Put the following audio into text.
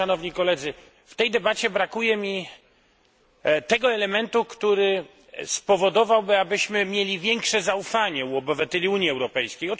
W tej debacie brakuje mi tego elementu, który spowodowałby, abyśmy mieli większe zaufanie u obywateli Unii Europejskiej.